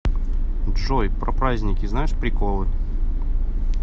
джой про праздники знаешь приколы